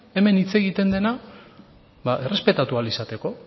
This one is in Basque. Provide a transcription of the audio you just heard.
hemen hitz egiten dena ba errespetatu ahal izateko